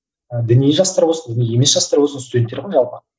діни жастар болсын діни емес жастар болсын студенттер ғой жалпы